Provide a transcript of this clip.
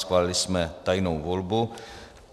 Schválili jsme tajnou volbu.